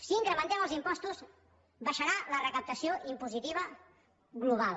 si incrementem els impostos baixarà la recaptació impositiva global